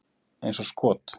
Eins og skot!